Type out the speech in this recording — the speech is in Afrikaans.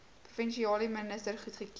provinsiale minister goedgekeur